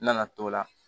N nana to la